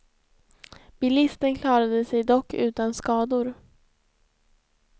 Bilisten klarade sig dock utan skador.